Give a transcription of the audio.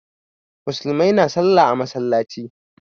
Musulmai na sallah a masallaci